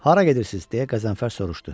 Hara gedirsiz, deyə Qəzənfər soruşdu.